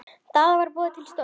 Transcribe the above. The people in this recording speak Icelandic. Daða var boðið til stofu.